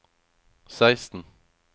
seksten